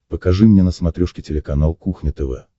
покажи мне на смотрешке телеканал кухня тв